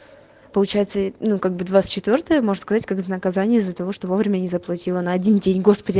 получается ну как бы двадцать четвёртое можно сказать как наказание за того что вовремя не заплатила на один день господи